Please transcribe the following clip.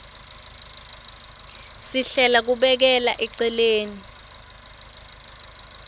sihlela kubekela eceleni